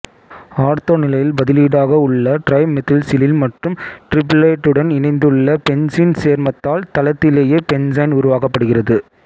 ortho நிலையில் பதிலீடாக உள்ள டிரைமெத்தில்சிலில் மற்றும் டிரிப்ளேட்டுடன் இணைந்துள்ள பென்சீன் சேர்மத்தால் தளத்திலேயே பென்சைன் உருவாக்கப்படுகிறது